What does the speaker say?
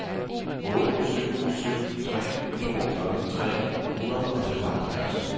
otte syv syv tre toogfyrre tre hundrede og femoghalvfems